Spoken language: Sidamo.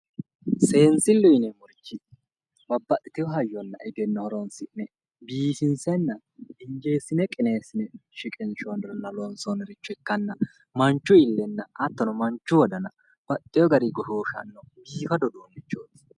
Seensilleho yineemmohu babbaxitewo haryana egenno horoonsi'ne biifinsenna qineessine loonsoonniha ikkanna Manchu illenna hattono Manchu wodana baxxeewo garinni goshshooshannorichooti